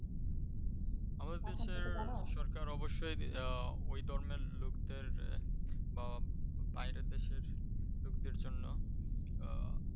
আমাদের দেশের সরকার অবশ্যই ওই ধর্মের লোকদের বা বাইরের দেশের লোকদের জন্য আহ